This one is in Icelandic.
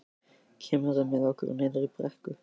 Kemurðu með okkur niður í brekku?